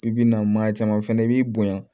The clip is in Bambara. I bi na maa caman fɛnɛ i b'i bonya